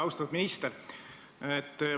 Austatud minister!